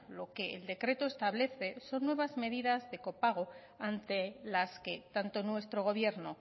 lo que el decreto establece son nuevas medidas de copago ante las que tanto nuestro gobierno